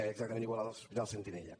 exactament igual en els hospitals sentinella